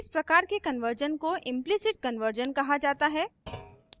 इस प्रकार के कन्वर्जन को implicit कन्वर्जन कहा जाता है